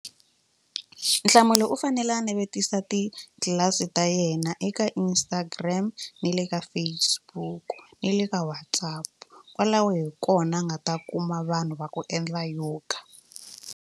Nhlamulo u fanele a navetisa titlilasi ta yena eka Instagram ni le ka Facebook ni le ka WhatsApp kwalaho hi kona a nga ta kuma vanhu va ku endla yoga.